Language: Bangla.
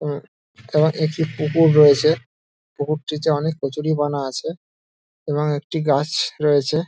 উম তার একটি পুকুর রয়েছে পুকুরটিতে অনেক কচুরিপানা আছে এবং একটি গাছ রয়েছে।